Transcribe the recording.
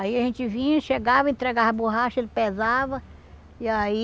Aí a gente vinha, chegava, entregava borracha, ele pesava, e aí...